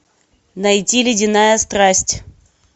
найти ледяная страсть